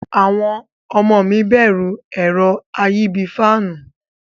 Awon omo mi beru ero ayi bii faanu.